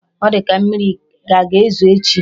Ọ di ka mmiri a ga ezo echi